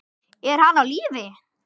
Er hann á lífi?